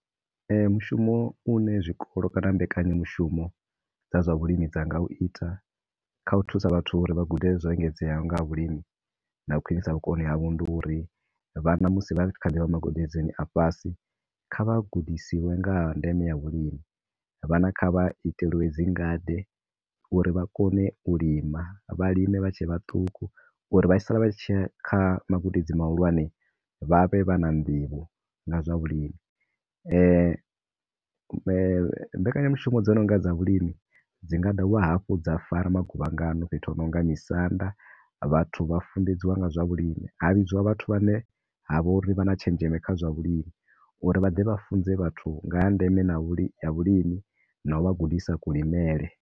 Mushumo une zwikolo kana mbekanyamushumo dza zwa vhulimi dza nga uita kha u thusa vhathu uri vha gude zwoengedzaho nga ha vhulimi na u khwinisa vhukoni havho ndi uri, vhana musi vha khou ḓivha magodedzoni a fhasi kha vha gudisiwe nga ha ndeme ya vhulimi, vhana kha vha iteliwe dzi ngade, uri vha kone u lima, vha lime vha tshe vhaṱuku uri vha tshi sala vha tshi ya kha magudedzi mahulwane vha vhe vha na nḓivho na zwa vhulimi. Mbekanyamushumo dzo nonga dza vhulimi dzi nga dovha hafhu dza fara maguvhangano fhethu ho nonga misanda vhathu vha funḓedziwa nga zwa vhulimi. Ha vhidziwa vhathu vha ne ha vha uri vhana tshenzheme kha zwa vhulimi, uri vha ḓe vha funze vhathu nga ha ndeme na vhuli, ha vhulimi na u vha gudisa ku limele.